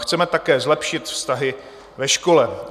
Chceme také zlepšit vztahy ve škole.